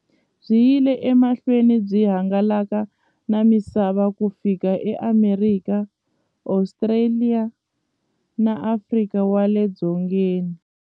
Byi yile emahlweni byi hangalaka na misava ku fika e Amerika, Ostraliya na Afrika wale dzongeni.